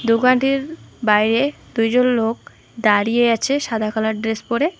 দোকানটির বাইরে দুজন লোক দাঁড়িয়ে আছে সাদা কালার ড্রেস পরে।